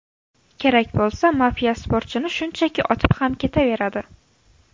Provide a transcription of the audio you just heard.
Kerak bo‘lsa mafiya sportchini shunchaki otib ham ketaveradi.